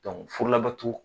furu labato